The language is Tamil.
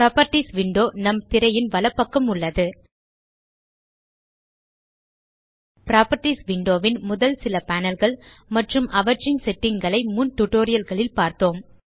புராப்பர்ட்டீஸ் விண்டோ நம் திரையின் வலப்பக்கம் உள்ளது புராப்பர்ட்டீஸ் விண்டோ ன் முதல் சில panelகள் மற்றும் அவற்றின் செட்டிங்ஸ் ஐ முன் டியூட்டோரியல் களில் பார்த்தோம்